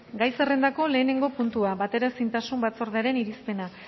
gai zerrendako lehenengo puntua bateraezintasun batzordearen irizpena